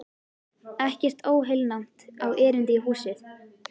Ekkert óheilnæmt á erindi í húsið.